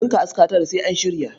Ɗinka aska tara sai an shirya.